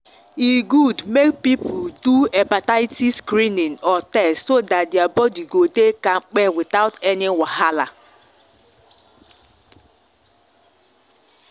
e good make people do hepatitis screening or test so that their body go dey kampe without any wahala.